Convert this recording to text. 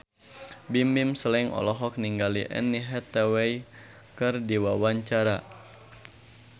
Bimbim Slank olohok ningali Anne Hathaway keur diwawancara